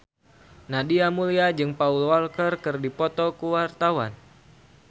Nadia Mulya jeung Paul Walker keur dipoto ku wartawan